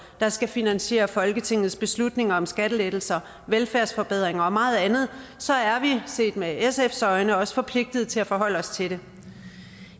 der skal finansiere folketingets beslutninger om skattelettelser velfærdsforbedringer og meget andet så er vi set med sfs øjne også forpligtet til at forholde os til det